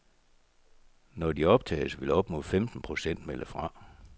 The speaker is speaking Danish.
Når de optages, vil op mod femten procent melde fra.